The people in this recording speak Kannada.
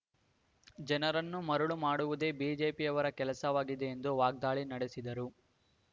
ಜನರನ್ನು ಮರಳು ಮಾಡುವುದೇ ಬಿಜೆಪಿಯವರ ಕೆಲಸವಾಗಿದೆ ಎಂದು ವಾಗ್ದಾಳಿ ನಡೆಸಿದರು